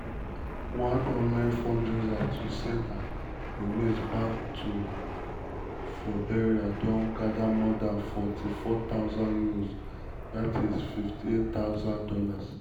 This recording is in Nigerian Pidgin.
one online fundraiser to send her remains back touk for burial don gadamore dan £44000 ($58000).